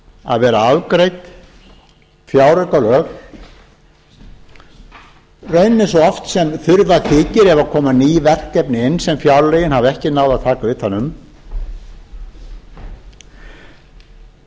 að vera afgreidd fjáraukalög í rauninni svo oft sem þurfa þykir ef koma ný verkefni inn sem fjárlögin hafa ekki náð að taka utan um